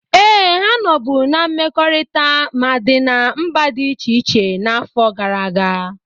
Ee, ha nọbu na mmekọrịta ma dị na mba dị iche n'afọ gara aga.